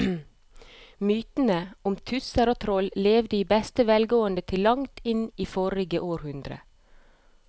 Mytene om tusser og troll levde i beste velgående til langt inn i forrige århundre.